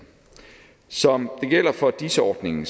som det gælder for dis ordningen